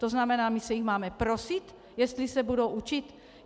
To znamená, my se jich máme prosit, jestli se budou učit?